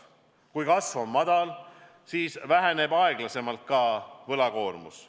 Kui kasv on väike, siis väheneb aeglasemalt ka võlakoormus.